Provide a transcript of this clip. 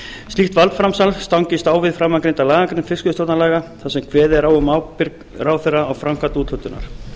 slíkt valdframsal stangist á við framangreinda lagagrein fiskveiðistjórnarlaga þar sem kveðið er á um ábyrgð ráðherra á framkvæmd úthlutunar